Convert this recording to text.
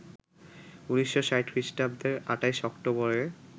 ১৯৬০ খ্রিষ্টাব্দের ২৮ অক্টোবরে